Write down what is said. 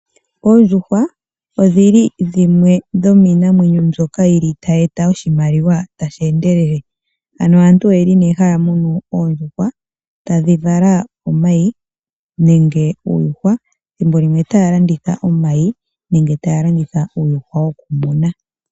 Oondjuhwa odhili dhimwe dhomiinamwenyo mbyoka yili tayi eta oshimaliwa tashi endelele. Ano aantu oyeli ne haya munu oondjuhwa, tadhi vala omayi nenge uuyuhwa, thimbo limwe otaya landitha omayi nenge taya landitha uuyuhwa wokumunwa.